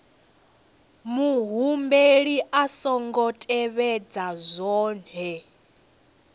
muhumbeli a songo tevhedza zwohe